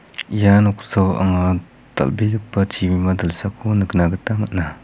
ia noksao anga dal·begipa chibima dilsako nikna gita man·a.